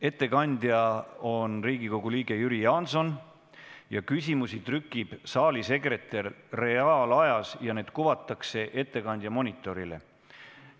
Ettekandja on Riigikogu liige Jüri Jaanson, küsimusi trükib saalisekretär reaalajas ja need kuvatakse ettekandja monitorile.